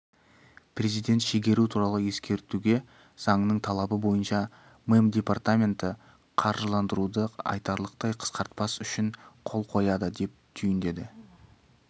президент шегеру туралы ескертуге заңның талабы бойынша мемдепартаменті қаржыланжыруды айтарлықтай қысқартпас үшін қол қояды деп түйіндеді